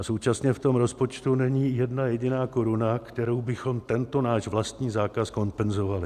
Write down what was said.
A současně v tom rozpočtu není jedna jediná koruna, kterou bychom tento náš vlastní zákaz kompenzovali.